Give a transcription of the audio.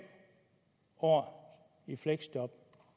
år i fleksjob